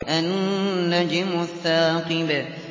النَّجْمُ الثَّاقِبُ